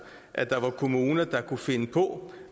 at der var kommuner der kunne finde på